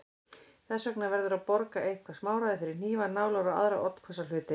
Þess vegna verður að borga eitthvert smáræði fyrir hnífa, nálar og aðra oddhvassa hluti.